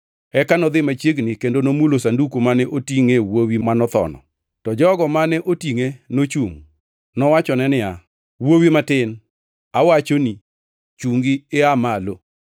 Eka nodhi machiegni kendo nomulo sanduku mane otingʼe wuowi manotho, to jogo mane otingʼe nochungʼ. Nowachone, “Wuowi matin, awachoni, chungi aa malo!”